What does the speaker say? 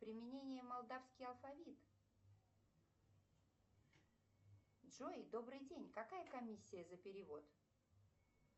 применение молдавский алфавит джой добрый день какая комиссия за перевод